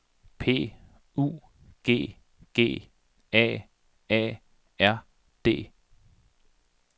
P U G G A A R D